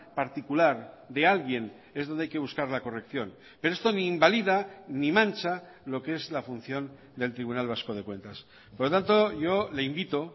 particular de alguien es donde hay que buscar la corrección pero esto ni invalida ni mancha lo que es la función del tribunal vasco de cuentas por lo tanto yo le invito